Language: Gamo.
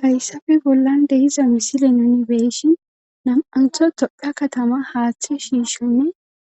hayssafe bollande hiza misile nunibeeshin nam7antho toqa katama haaththe shiishonne